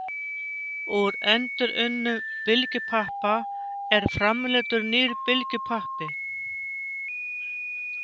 Úr endurunnum bylgjupappa er framleiddur nýr bylgjupappi.